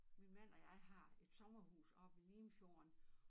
Min man og jeg har et sommerhus oppe ved Limfjorden